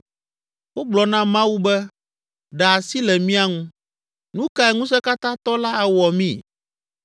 Wogblɔ na Mawu be, ‘Ɖe asi le mía ŋu! Nu kae Ŋusẽkatãtɔ la awɔ mí?’